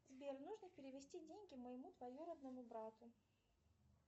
сбер можно перевести деньги моему двоюродному брату